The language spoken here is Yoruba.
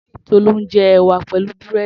Tolú ń jẹ ẹ̀wà pẹ̀lú búrẹ́dì.